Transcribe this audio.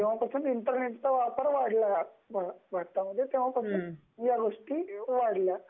जेव्हापासून इंटरनेटचा वापर वाढला आहे तेव्हापासून या गोष्टी वाढल्या आहेत